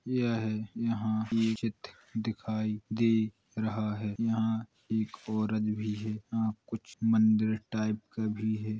यह यहां ये चित्र दिखाई दे रहा है | यहां एक औरत भी है | यहां कुछ मंदिर टाइप का भी है।